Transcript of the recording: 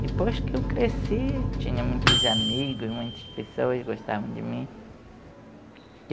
Depois que eu cresci, tinha muitos amigos, muitas pessoas gostavam de mim.